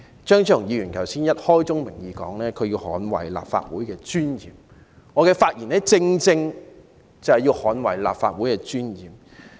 張超雄議員剛才已開宗明義表示要捍衞立法會的尊嚴，而我的發言亦正正要捍衞立法會的尊嚴。